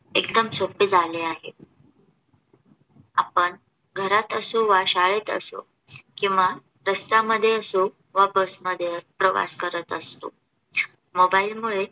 एकदम सोपे झाले आहे. आपण घरात असो किंवा शाळेत असो किंवा रस्त्यामध्ये असो वा बस मध्ये प्रवास करत असतो MOBILE मुळे संगीत ऐकणे शक्य आहे.